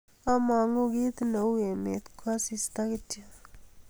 among'u kii neu emet ko asista kityo